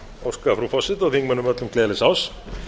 óska frú forseta og þingmönnum öllum gleðilegs árs